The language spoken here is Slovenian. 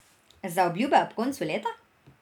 Zaobljube ob koncu leta?